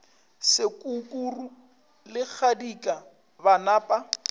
sekukuru le kgadika ba napa